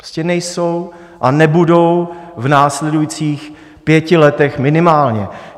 Prostě nejsou a nebudou v následujících pěti letech minimálně.